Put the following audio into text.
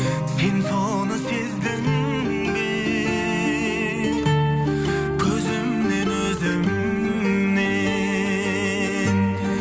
сен соны сездің бе көзімнен өзімнен